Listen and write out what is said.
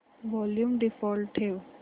volume default ठेव